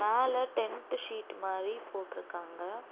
மேல tent sheet மாரி போட்ருக்காங்க.